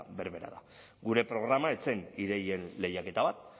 berbera da gure programa ez zen ideien lehiaketa bat